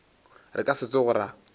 re ka se tsoge ra